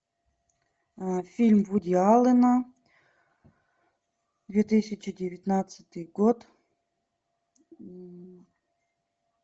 фильм вуди аллена две тысячи девятнадцатый год